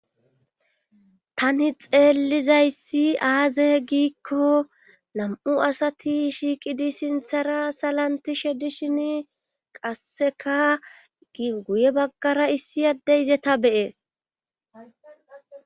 Tani xeellizayssi aaze giikko nam7u asati shiiqidi sinthara salanti shedishin qasseka guye baggara issi adde izeta be7ees.